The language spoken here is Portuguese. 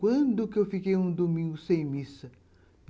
Quando que eu fiquei um domingo sem missa?